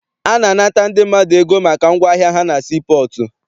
A na-anata ndị mmadụ ego maka ngwaahịa ha na sii pọọtụ.